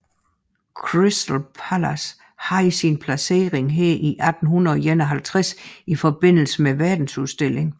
Crystal Palace havde sin placering her i 1851 i forbindelse med verdensudstillingen